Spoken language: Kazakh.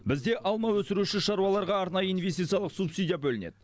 бізде алма өсіруші шаруаларға арнайы инвестициялық субсидия бөлінеді